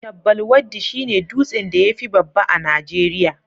Chabbal Waddi shi ne dutsen da ya fi babba a Najeriya